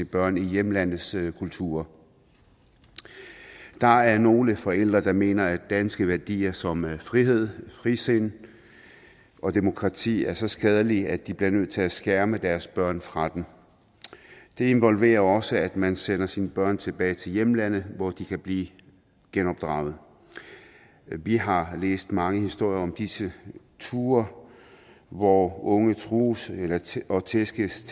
børn i hjemlandets kultur der er nogle forældre der mener at danske værdier som frihed frisind og demokrati er så skadelige at de bliver nødt til at skærme deres børn fra dem det involverer også at man sender sine børn tilbage til hjemlandet hvor de kan blive genopdraget vi har læst mange historier om disse ture hvor unge trues og tæskes